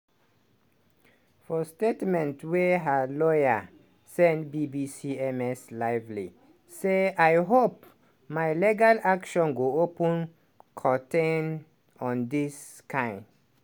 for statement wey her lawyer send bbc ms lively say "i hope my legal action go open curtain on dis kain